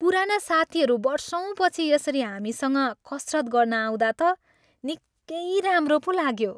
पुराना साथीहरू वर्षौँपछि यसरी हामीसँग कसरत गर्न आउँदा त निकै राम्रो पो लाग्यो।